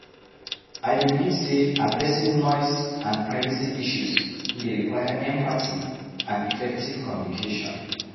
I dey believe say addressing noise and privacy issues dey require empathy and effective communication.